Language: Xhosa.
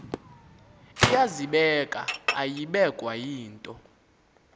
iyazibeka ayibekwa yinto